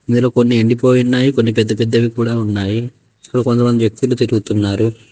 ఇందులో కొన్ని ఎండిపోయి ఉన్నాయి కొన్ని పెద్ద పెద్దవి ఉన్నాయి కూడా ఉన్నాయి ఇందులో కొంత మంది వ్యక్తులు తిరుగుతున్నారు.